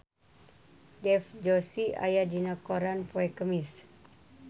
Dev Joshi aya dina koran poe Kemis